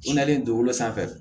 U nalen do sanfɛ